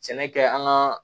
Sɛnɛ kɛ an ka